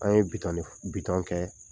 An ye bitɔn ne fɔ bitɔn kɛ.